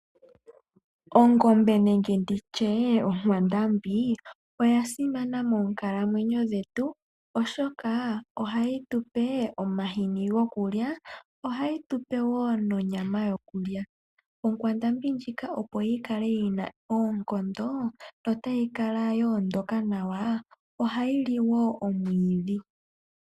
Ongombe nenge nditye onkwandambi, oya simana moonkalamwenyo dhetu, oshoka ohayi tupe omahini gokulya, nosho wo onyama yokulya. Onkwandambi ndjika opo yi kale yina oonkondo, yo yikale ya ondoka nawa, ohayi li woo omwiidhi.